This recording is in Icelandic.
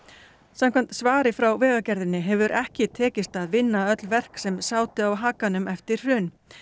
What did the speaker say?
samkvæmt svari frá Vegagerðinni hefur ekki tekist að vinna öll verk sem sátu á hakanum eftir hrun